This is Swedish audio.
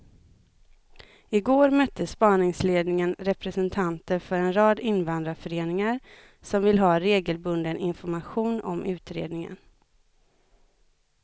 I går mötte spaningsledningen representanter för en rad invandrarföreningar som vill ha regelbunden information om utredningen.